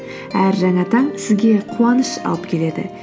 әр жаңа таң сізге қуаныш алып келеді